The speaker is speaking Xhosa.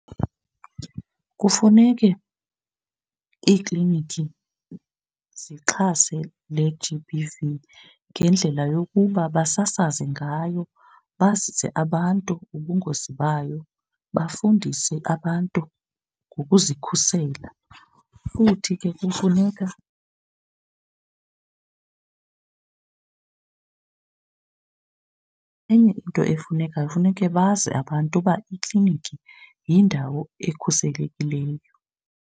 Kufuneke iikliniki zixhase le-G_B_V ngendlela yokuba basasaze ngayo bazise abantu ngobungozi bayo, bafundise abantu ngokuzikhusela. Futhi ke kufuneka , enye into efunekayo funeke bazi abantu uba ikliniki yindawo ekhuselekileyo.